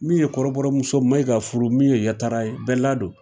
Min ye kɔrɔbɔmuso Mayiga furu min ye yatara ye bɛɛla don.